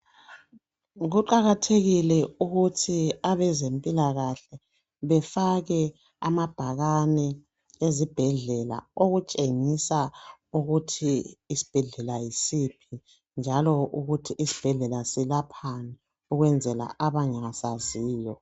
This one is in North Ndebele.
Kuqakathekile ukuthi abezempilakahle befake amabhakane ezibhedlela okutshengisa ukuthi isibhedlela yisiphi njalo ukuti isibhedlela selaphani kwabangasaziyo.